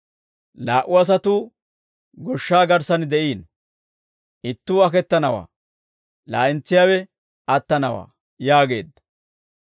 Laa"u asatuu goshsha garssan de'iino; ittuu aketanawaa, laa'entsiyaawe attanawaa» yaageedda.